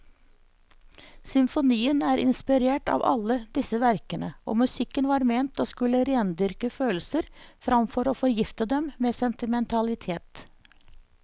Symfonien er inspirert av alle disse verkene, og musikken var ment å skulle rendyrke følelser framfor å forgifte dem med sentimentalitet.